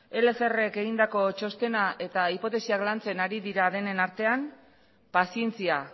egindako txostena eta hipotesiak lantzen ari dira denen artean pazientzia